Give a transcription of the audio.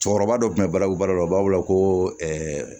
Cɛkɔrɔba dɔ tun bɛ balawu balo la u b'a weele koo